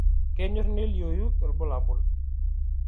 Kenyor neliou ilbulabul